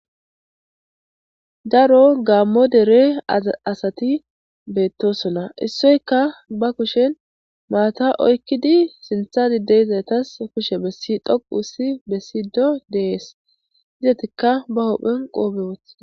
Daro gaammo dere aZa asati beettosona. Issoyka ba kushen maata oykkidi sintha dideyzaytas kushe bessi dhoqossi bessiiddo de7ees. Izatikka ba huphen qoobe wothI.